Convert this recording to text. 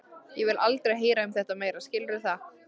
Ég vil aldrei heyra um þetta meira, skilurðu það?